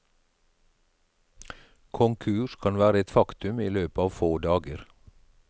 Konkurs kan være et faktum i løpet av få dager.